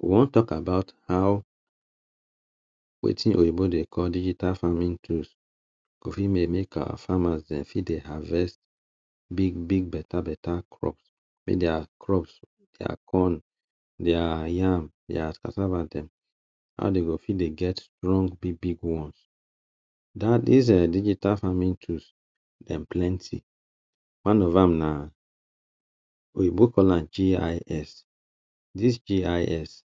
We wan talk about how wetin oyinbo dey call digital farming tools. Go fit dey make our farmers dem de fit dey havest big big better better crops. Make their crops, their corn, their yam, cassava dem, how dem go fit dey get long big big ones. Dat dus um digital farming tools, dem plenty. One of am na Oyinbo call am GIS. Dis GIS,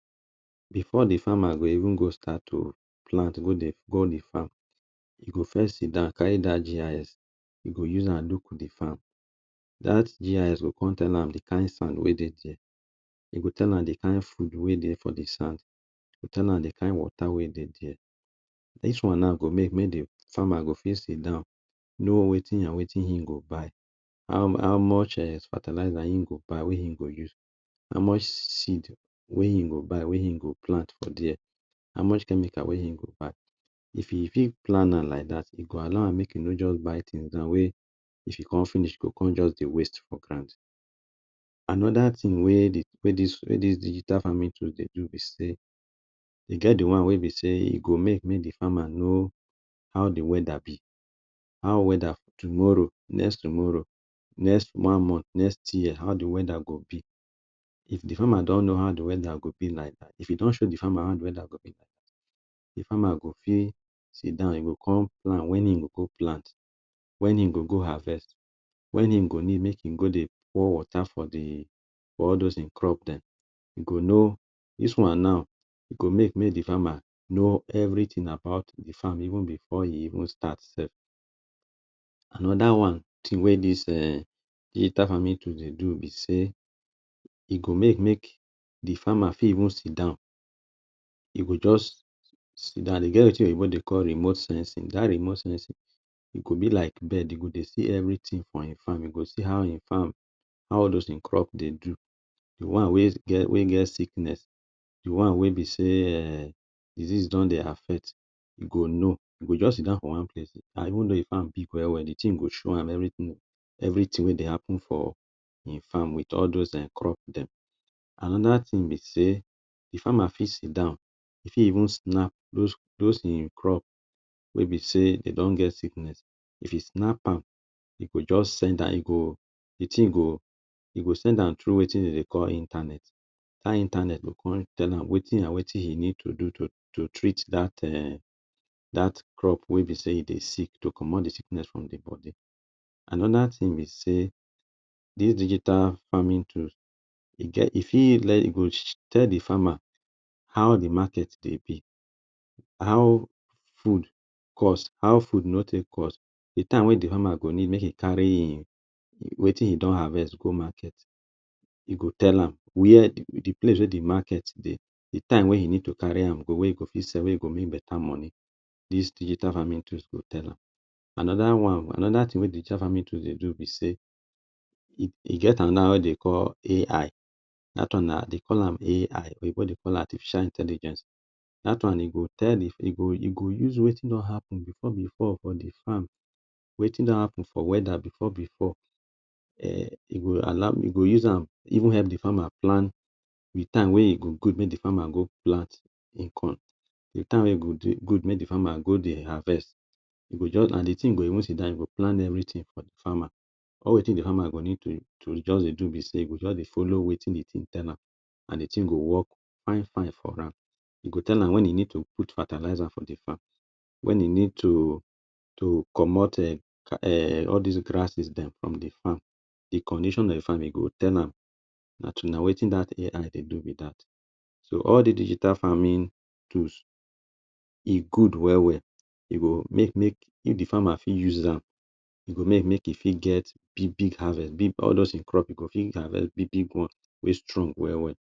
before the farmer go even go start to plant, go the go the farm, e go first sit down, carry dat GIS. E go use am look the farm. Dat GIS go con tell am the kind sand wey dey dere. E go tell am the kind food wey dey for the farm, e go tell am the kind water wey dey dere. Dis one now go make mey the farmers go fit sit down, know wetin and wetin him go buy, how how much um fertilizer im go buy wey im go use, how much seed wey im go buy wey im go plant for dere, how much chemical wey im go buy. E fit e fit plan am like dat, e go allow am make e no just buy things down wey if e con finish, e go con just dey waste for ground. Another thing we the wey dis digital farming tools dey do be sey, e get the one wey be sey, e go make the farmer know how the weather be. How weather tomorrow, next tomorrow, next one month, next year, how the weather go be. If the farmer don know how the weather go be like dat, if e don show the farmer how the weather go be, the farmer go fit sit down. E go con plan when e go go plant, when e go go harvest, when e go need make e go dey pour water for the for all dos e crop dem. E go know dis one now e go make mey the farmer know everything about the farm even before e even start self. Another one thing wey dis um digital farming tools dey do be sey, e go make make the farmers fit even sit down. E go just sit down. De get wetin Oyinbo dey call remote sensing. Dat sensing, e go be like bird. E go dey see everything for e farm. E go see how e farm, how dos e crop dey do. The one wey get wey get sickness, the one wey be sey um disease don dey affect, you go know. You go just sit down for one place and even though the farm big well well, the thing go show am everything. Everything wey dey happen for e farm with all dos um crop dem. Another thing be sey the farmer fit sit down, e fit even snap dos dos im crop wey be sey de don get sickness. If e snap am, e go just send am. E go, the thing go, e go send am through wetin de dey call internet. Dat internet go con tell am wetin and wetin e need to do to to treat dat um dat crop wey be sey e dey sick, to comot the sickness for the body. Another thing be sey, dis digital farming tools dey get, e fit let e go tell the farmer how the market dey be. How food cost, how food no take cost? The time wey the farmer go need make e carry e e wetin e don havest go market, e go tell am where the place wey the market dey, the time wey you need to carry am go, wey e go fit sell, wey e go fit make better money, dis digital farming tools go tell am. Another one, another thing wey digital farming tool dey do be sey, e e get another one wey de dey call AI. Dat one now they call am AI. Oyinbo dey call am Artificial Intelligent. Dat one e go tell the e go e go use wetin don happen before before for the farm, wetin don happen for weather before before um. E go all e go use am, even help the farmer plan the time wey e go good make the farmer go plant e corn. The time wey e go de good make the farmer go dere dey harvest. You go just na the thing go even sit down, you go plan everything for the farmer. All wetin the farmer go need to to just dey do be sey, e go just dey follow wetin the thing tell am and the thing go work fine fine for am. E go tell am when e need to put fertilizer for the farm, when e need to to comot um all des grasses dem from the farm, the condition of farming e go tell am. Na true, na wetin that AI dey do be dat. So, all the digital farming tool, e good well well. E go make make if the farmer fit use am. E go make make e fit get big big harvest. Mey all dos e crop, e go fit harvest big big one wey strong well well.